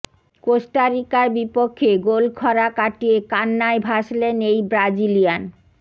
Costa রিকার বিপক্ষে গোলক্ষরা কাটিয়ে কান্নায় ভাসলেন এই ব্রাজিলিয়ান